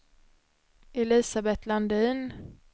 Elisabet Landin